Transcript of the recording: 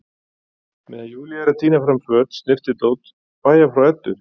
Meðan Júlía er að tína fram föt, snyrtidót, bægja frá Eddu